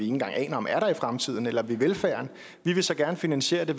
engang aner om er der i fremtiden eller ved velfærden vi vil så gerne finansiere det